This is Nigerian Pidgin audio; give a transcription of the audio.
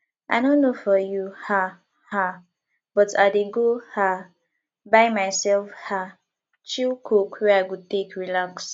i no know for you um um but i dey go um buy myself um chill coke wey i go take relax